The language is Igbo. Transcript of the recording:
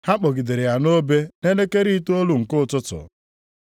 Ha kpọgidere ya nʼobe nʼelekere itoolu nke ụtụtụ.